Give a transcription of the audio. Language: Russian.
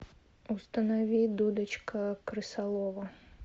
установи дудочка крысолова